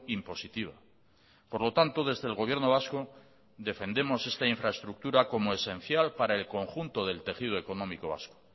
impositiva por lo tanto desde el gobierno vasco defendemos esta infraestructura como esencial para el conjunto del tejido económico vasco